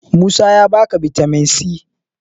Musa ya ba ka bitamin c?